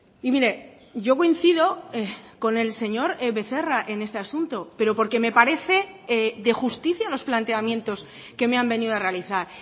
y mire yo coincido con el señor becerra en este asunto pero porque me parece de justicia los planteamientos que me han venido a realizar